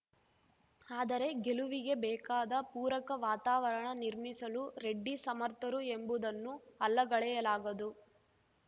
ಆದರೆ ಗೆಲುವಿಗೆ ಬೇಕಾದ ಪೂರಕ ವಾತಾವರಣ ನಿರ್ಮಿಸಲು ರೆಡ್ಡಿ ಸಮರ್ಥರು ಎಂಬುದನ್ನು ಅಲ್ಲಗಳೆಯಲಾಗದು